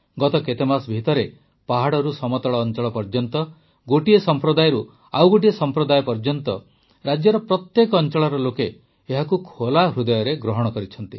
ଗତ କେତେମାସ ଭିତରେ ପାହାଡ଼ରୁ ସମତଳ ଅଂଚଳ ପର୍ଯ୍ୟନ୍ତ ଗୋଟିଏ ସମ୍ପ୍ରଦାୟରୁ ଆଉ ଗୋଟିଏ ସମ୍ପ୍ରଦାୟ ଯାଏ ରାଜ୍ୟର ପ୍ରତ୍ୟେକ ଅଂଚଳର ଲୋକ ଏହାକୁ ଖୋଲା ହୃଦୟରେ ଗ୍ରହଣ କରିଛନ୍ତି